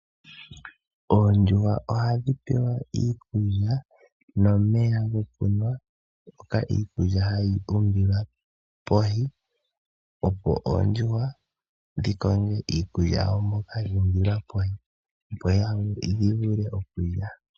Oondjuhwa ohadhi pewa iikulya nomeya gokunwa mpoka iikulya hayi umbilwa pevi, opo oondjuhwa dhi konge iikukya yawo mbyoka yuumbilwa pevi, opo dhi vule okulya.